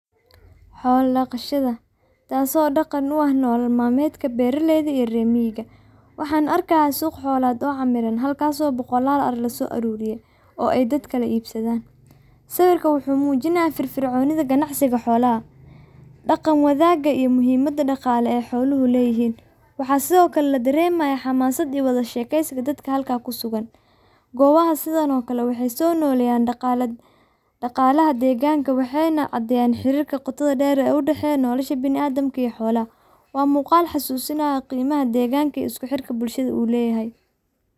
.Xola daqashada taso dhaqan u ah nolol malmedka, arigani wuxuu u muuqdaa mid ku saabsan mowduuc xirfadeed ama tacliin sare, taasoo muhiim u ah horumarinta tayada ariga, Ka qaybgalka hawshan waxbarasho wuxuu muhiim u yahay horumarinta garaadka, xirfadaha fikirka iyo is-dhexgalka bulshada. suqa xolaha waxay